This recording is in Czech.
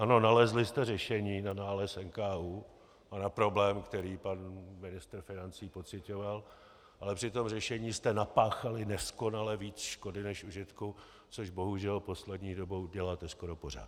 Ano, nalezli jste řešení na nález NKÚ a na problém, který pan ministr financí pociťoval, ale při tom řešení jste napáchali neskonale víc škody než užitku, což bohužel poslední dobou děláte skoro pořád.